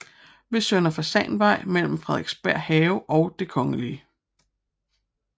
Ved Søndre Fasanvej mellem Frederiksberg Have og Den kgl